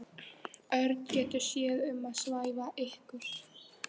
Örn getur séð um að svæfa ykkur.